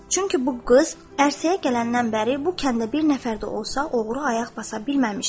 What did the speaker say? Çünki bu qız ərsəyə gələndən bəri bu kəndə bir nəfər də olsa oğru ayaq basa bilməmişdir.